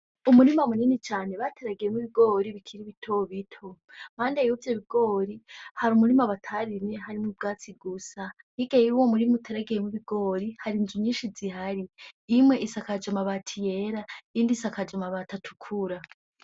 Umurima munini cane bateragiyemwo ibigori bikiri bito bito iruhande y'ivyo bigori Hari umurima batarimye harimwo ubwatsi gusa. hirya y'uwo murima uteragiyemwo ibigori har'inzu nyishi zihari, nk'imwe isakajwe amabati yera iyindi isakajwe amabati atukura.